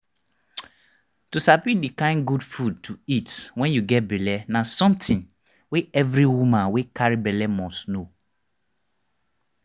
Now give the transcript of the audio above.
to sabi the kind good food to eat wen u get belle na something wey every woman wey carry belle must know